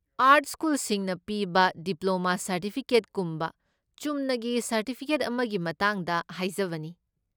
Art ꯁ꯭ꯀꯨꯜꯁꯤꯡꯅ ꯄꯤꯕ diploma ꯁꯔꯇꯤꯐꯤꯀꯦꯠꯀꯨꯝꯕ ꯆꯨꯝꯅꯒꯤ ꯁꯔꯇꯤꯐꯤꯀꯦꯠ ꯑꯃꯒꯤ ꯃꯇꯥꯡꯗ ꯍꯥꯏꯖꯕꯅꯤ꯫